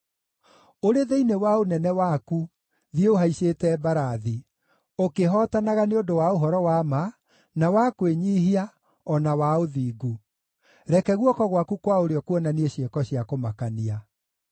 Ũrĩ thĩinĩ wa ũnene waku thiĩ ũhaicĩte mbarathi, ũkĩhootanaga nĩ ũndũ wa ũhoro wa ma, na wa kwĩnyiihia, o na wa ũthingu; reke guoko gwaku kwa ũrĩo kuonanie ciĩko cia kũmakania.